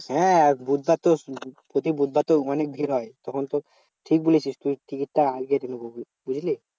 হ্যাঁ বুধবার তো বলছি বুধবার তো অনেক ভিড় হয়। তখন তো ঠিক বলেছিস তুই টিকিট টা আগে কেটে নেবো, বুঝলি?